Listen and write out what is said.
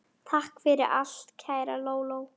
Takk fyrir allt, kæra Lóló.